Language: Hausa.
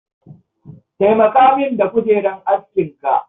Taimaka min da kujerar askinka